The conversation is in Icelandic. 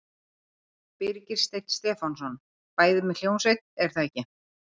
Birgir Steinn Stefánsson: Bæði með hljómsveit er það ekki?